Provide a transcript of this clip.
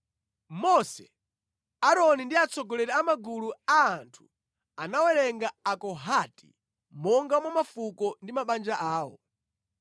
Mose, Aaroni ndi atsogoleri a magulu a anthu anawerenga Akohati monga mwa mafuko ndi mabanja awo.